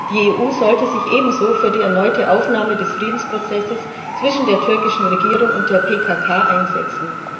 Die EU sollte sich ebenso für die erneute Aufnahme des Friedensprozesses zwischen der türkischen Regierung und der PKK einsetzen.